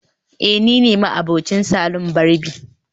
eh nine ma'abocin salon barbi